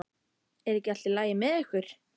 Er ekki allt í lagi með ykkur?